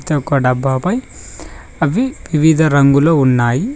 ప్రతిఒక డబ్బాపై అవి వివిధ రంగులో ఉన్నాయి.